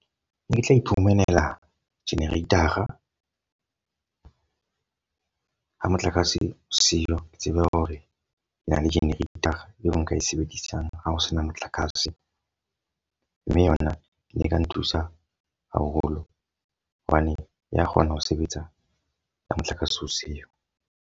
Ne ke tla iphumanela generator-a ha motlakase o seo. Ke tsebe hore ke na le generator-a eo nka e sebedisang ha ho sena motlakase. Mme yona e ka nthusa haholo hobane ya kgona ho sebetsa ka motlakase o seo.